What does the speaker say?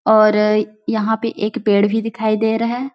और यहाँ पे एक पेड़ भी दिखाई दे रहा है।